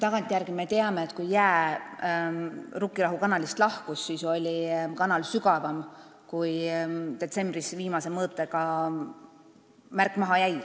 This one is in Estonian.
Tagantjärele me teame, et kui jää Rukkirahu kanalist lahkus, siis oli kanal sügavam, kui detsembris viimase mõõtega märk maha jäi.